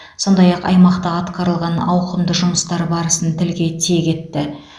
сондай ақ аймақта атқарылған ауқымды жұмыстар барысын тілге тиек етті